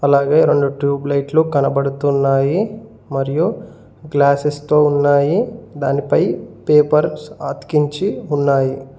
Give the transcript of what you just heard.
అలాగే రెండు ట్యూబ్ లైట్లు కనబడుతున్నాయి మరియు గ్లాసెస్ తో ఉన్నాయి దానిపై పేపర్స్ అతికించి ఉన్నాయి.